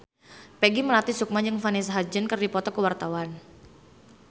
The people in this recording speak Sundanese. Peggy Melati Sukma jeung Vanessa Hudgens keur dipoto ku wartawan